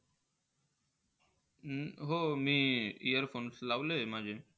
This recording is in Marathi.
हम्म हो, मी eaarphones लावले आहे माझे.